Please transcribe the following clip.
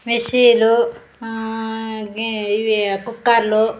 మిశి లు ఆ ఇవి కుక్కర్లు .